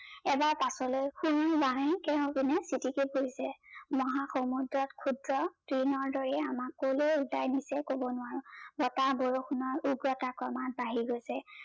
এবাৰ পাছলে পোহিছে মহা সমুদ্ৰত খুদ্ৰ দিনৰ দৰে আমাক কলৈ উতাই নিছে কব নোৱাৰো, বতাহ বৰষুনৰ উগ্ৰতা ক্ৰমাত বাহি গৈছে।